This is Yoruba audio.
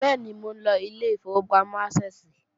Bẹ́ẹ̀ni, mò ńlọ ilé ìfowópamọ́ Ásẹ́ẹ̀sì